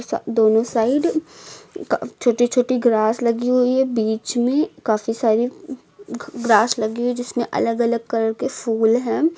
सा दोनों साइड का छोटी छोटी ग्रास लगी हुई है बीच में काफी सारी घ ग्रास लगी हुई जिसमें अलग अलग कलर फूल है।